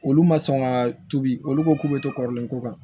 Olu ma sɔn ka tobi olu ko k'u be to kɔrɔlen ko kan